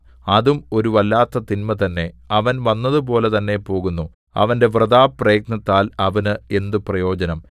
അതും ഒരു വല്ലാത്ത തിന്മ തന്നെ അവൻ വന്നതുപോലെ തന്നെ പോകുന്നു അവന്റെ വൃഥാപ്രയത്നത്താൽ അവന് എന്ത് പ്രയോജനം